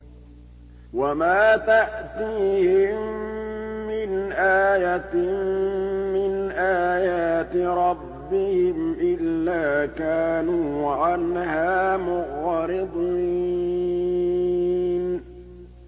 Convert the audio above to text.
وَمَا تَأْتِيهِم مِّنْ آيَةٍ مِّنْ آيَاتِ رَبِّهِمْ إِلَّا كَانُوا عَنْهَا مُعْرِضِينَ